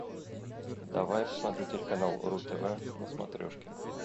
давай я посмотрю телеканал ру тв на смотрешке